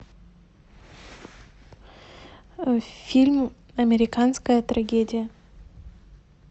фильм американская трагедия